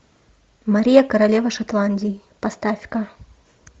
мария королева шотландии поставь ка